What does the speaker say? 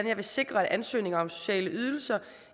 jeg vil sikre at ansøgninger om sociale ydelser